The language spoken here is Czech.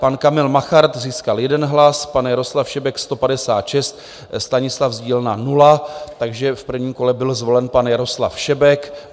Pan Kamil Machart získal 1 hlas, pan Jaroslav Šebek 156, Stanislav Zdílna 0, takže v prvním kole byl zvolen pan Jaroslav Šebek.